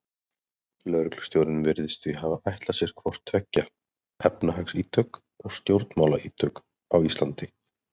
Lögreglustjórinn virðist því hafa ætlað sér hvort tveggja, efnahagsítök og stjórnmálaítök á Íslandi.